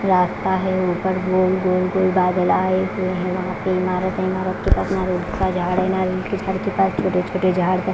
रास्ता है ऊपर गोल गोल गोल बादल आए हुए है। वहां पे इमारत है इमारत के पास नारियल का झाड़ है नारियल के झाड़ के पास छोटे-छोटे झाड़ --